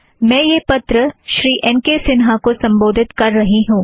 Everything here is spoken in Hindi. मैं यह पत्र श्री एन के सिन्हा को संबोधित कर रही हूँ